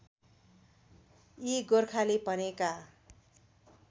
यी गोरखाली भनेका